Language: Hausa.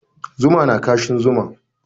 Zuma na kashin zuma.